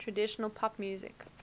traditional pop music